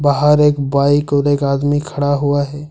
बाहर एक बाइक और एक आदमी खड़ा हुआ है।